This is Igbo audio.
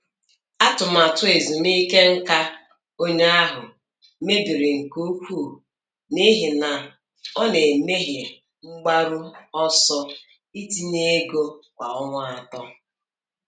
Atụmatụ ezumike nká onye ahụ mebiri nke ukwuu n’ihi na ọ na-emehie mgbaru ọsọ itinye ego kwa ọnwa atọ.